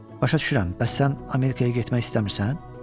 Başa düşürəm, bəs sən Amerikaya getmək istəmirsən?